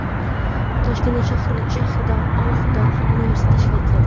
Toshkent shahrida alohida universitet tashkil etiladi.